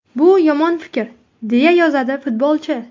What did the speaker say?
Bu yomon fikr”, deya yozadi futbolchi.